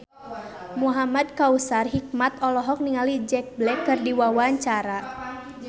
Muhamad Kautsar Hikmat olohok ningali Jack Black keur diwawancara